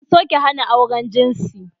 An soke dokar hana auren jinsi.